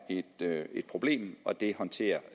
et problem og det håndterer